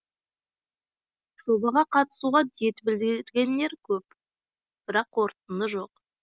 жобаға қатысуға ниет білдіргендер көп бірақ қорытынды жоқ